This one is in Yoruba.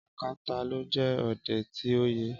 Ákátá ló jẹ́ ọdẹ ti oye.